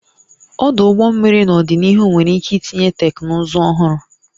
Ọdụ ụgbọ mmiri n'ọdịnihu nwere ike itinye teknụzụ ọhụrụ